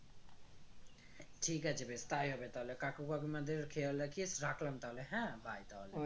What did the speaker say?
ঠিক আছে বেশ তাই হবে তাহলে কাকু কাকিমাদের খেয়াল রাখিস রাখলাম তাহলে হ্যাঁ bye তাহলে